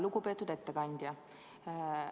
Lugupeetud ettekandja!